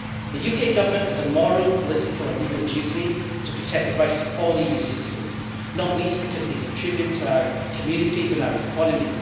The UK Government has a moral, political and legal duty to protect the rights of all EU citizens, not least because they contribute to our communities and our economy.